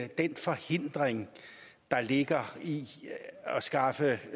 den forhindring der ligger i at skaffe